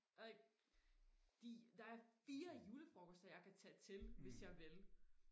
de der er fire julefrokoster jeg kan tage til hvis jeg vil